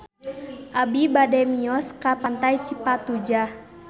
Abi bade mios ka Pantai Cipatujah